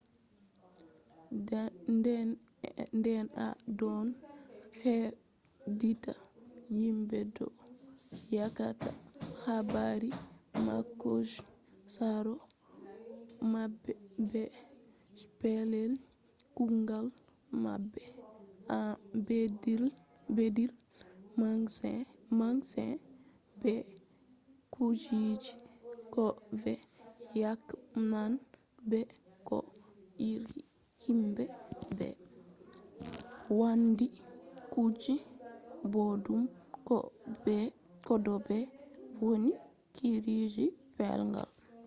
nde en ɗon heɗita himɓe ɗon yecca habaru maɓɓe je saro maɓɓe be je pellel kugal maɓɓe en beddiri masin be kujeji ko fe'i yake nane be bo irin himɓe ɓe wandi kuje boɗɗum ko bo ɓe vonni biiruki pellel kugal